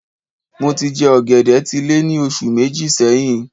Mo tí jẹ ògèdè tí lẹ́ ní oṣù Méjì sẹyìn